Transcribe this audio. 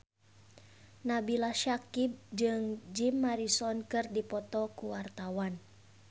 Nabila Syakieb jeung Jim Morrison keur dipoto ku wartawan